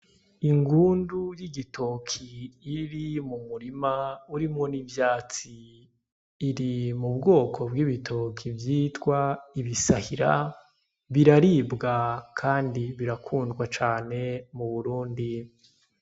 Ingundu y'igitoki iri mu murima urimwo n'ivyatsi iri mu bwoko bw'ibitoki vyitwa ibisahira biraribwa kandi birakundwa cane mu Burundi.